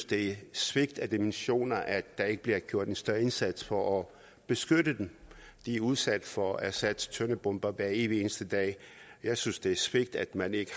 det er et svigt af dimensioner at der ikke bliver gjort en større indsats for at beskytte dem de er udsat for assads tøndebomber hver evig eneste dag jeg synes det er et svigt at man ikke